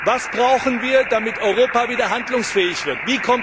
Was brauchen wir, damit Europa wieder handlungsfähig wird?